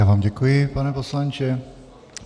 Já vám děkuji, pane poslanče.